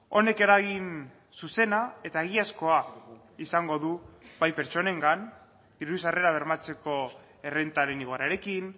honek eragin zuzena eta egiazkoa izango du bai pertsonengan diru sarrerak bermatzeko errentaren igoerarekin